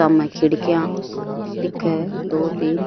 सामे खिड़कियां दिखे है दो तीन।